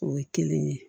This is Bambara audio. O ye kelen ye